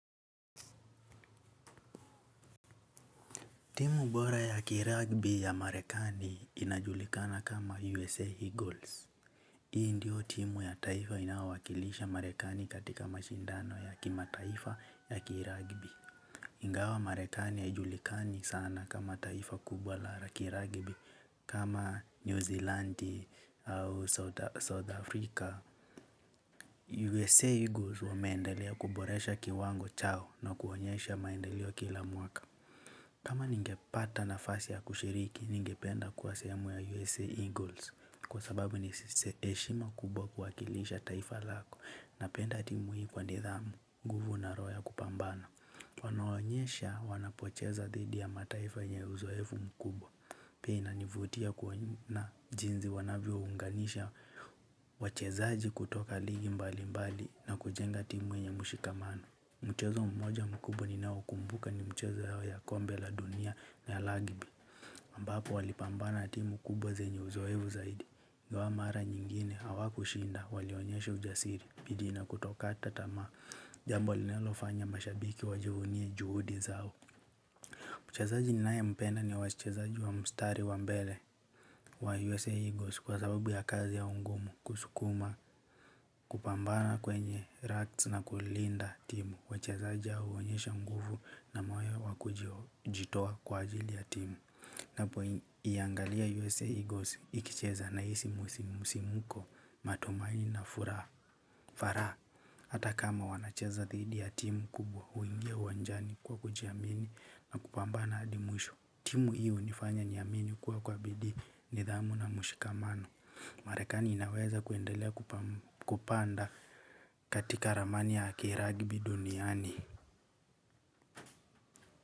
Timu bora ya kiragbi ya marekani inajulikana kama USA Eagles. Hii ndiyo timu ya taifa inayowakilisha marekani katika mashindano ya kimataifa ya kiragbi. Ingawa marekani haijulikani sana kama taifa kubwa la kiragbi. Kama newsilandi au south africa USA Eagles wameendelea kuboresha kiwango chao na kuonyesha maendeleo kila mwaka. Kama ningepata nafasi ya kushiriki ningependa kuwa sehemu ya USA Eagles kwa sababu ni steheshi makubwa kuwakilisha taifa yako napenda timu kwa nidarafu nguvu na roho ya kupambana. Wanaoonyesha wanapocheza dhidi ya mataifa yenye uzoefu mkubwa. Pia inanivutia kwa na jinzi wanavyo unganisha. Wachezaji kutoka ligi mbali mbali na kujenga timu enye mushikamano mchezo mmoja mkubwa ninao kumbuka ni mchezo yao ya kombe la dunia na ya lagibi ambapo walipambana timu kubwa zenye uzoevu zaidi. Ngwa mara nyingine hawa kushinda walionyeshe ujasiri bidi na kutokata tama. Jambo linalo fanya mashabiki wajuhunye juhudi zao mchesaji naempenda ni wachesaji wa mstari wa mbele wa USA Eagles kwa sababu ya kazi au mgumu kusukuma. Kupambana kwenye racks na kulinda timu. Wachezaja huonyesha nguvu na mayo wakujitoa kwa ajili ya timu. Napo iangalia USA Eagles ikicheza nahisi musimuko, matumaini na furaha hata kama wanacheza didi ya timu kubwa uingia uwanjani kwa kujiamini hadi mwisho timu hii unifanya niamini kuwa kwa bidii nidhamu na mshikamano Marekani inaweza kuendelea kupanda katika ramani ya kiragibi duniani.